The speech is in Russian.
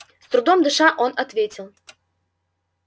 с трудом дыша тот ответил